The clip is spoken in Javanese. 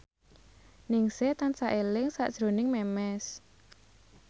Ningsih tansah eling sakjroning Memes